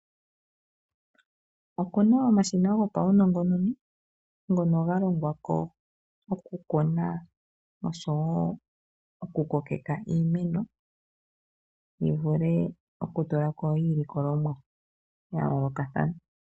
Opuna omashina ngo pawunongononi ngono ngalongwako okukuna oshowo okukokeka iimeno yivule okutulako iilikolomwa yayolokathana,